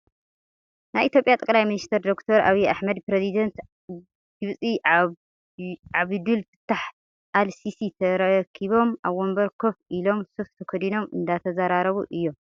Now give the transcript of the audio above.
ናይ ኢትዮጵያ ጠቅላይ ሚኒስተር ዶክተር ኣብይ ኣሕመድን ፕረዚደንት ግብጺ ዓብዱል ፋታሕ አል-ሲሲ ተራኪቦም ኣብ ወንበር ኮፍ ኢሎም ሱፍ ተከዲኖም እንዳተዘራረቡ እዮም።